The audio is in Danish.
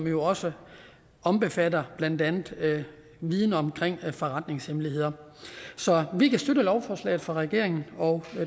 jo også omfatter viden om forretningshemmeligheder så vi kan støtte lovforslaget fra regeringen og